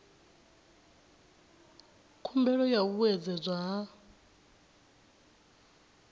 khumbelo ya u vhuedzedzwa ha